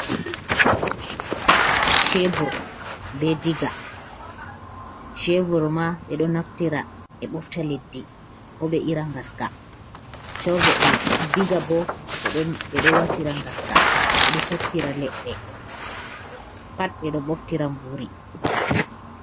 Chevur be Diga: Chevur ma ɓeɗo naftira ɓe ɓofta leddi ko ɓe ira ngaska. Diga bo ɓeɗo wasira ngaska, ɓeɗo soppira leɗɗe pat ɓeɗo ɓoftira mburi.